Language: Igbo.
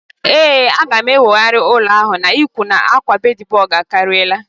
Ee, a ga m enwogharị ụlọ a n'ihi na akwa bedbug akariala